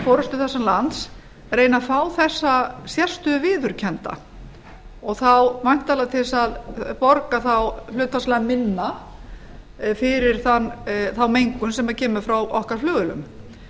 forustu þessa lands reyna að fá þessa sérstöðu viðurkennda og væntanlega til að borga hlutfallslega minna fyrir þá mengun sem kemur frá okkar flugvélum